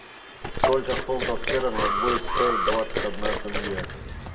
сколько фунтов стерлингов будет стоить двадцать одна тенге